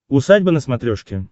усадьба на смотрешке